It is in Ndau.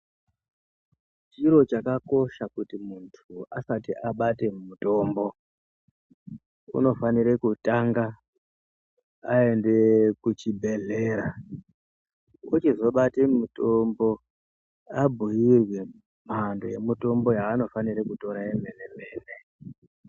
Chiro chakakosha kuti muntu asati abate mitombo unofanire kutanga aende kuchibhedhlera ochizobate mitombo abhuyirwe mhando yemutombo yaanofanira kutora yomene mene.